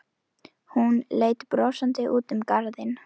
Sem betur fer er hann svotil alltaf í vinnunni.